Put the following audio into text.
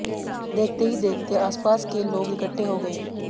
देखते ही देखते आसपास के लोग इकट्ठे हो गए